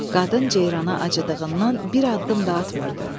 Qadın ceyrana acıdığından bir addım da atmırdı.